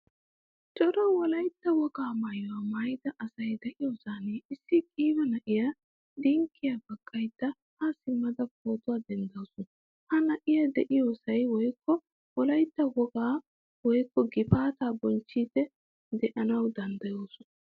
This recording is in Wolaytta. Cora wolaytta wogaa maayuwaa maayida asay de'iyosan issi qiiba na'iyaa dinkkiya baqqayda ha simada pootuwaa denddasu. Ha na'iya de'iyosay woykko wolaytta wogaa woykko gifaataa bonchchidi deanawu danddayoosona.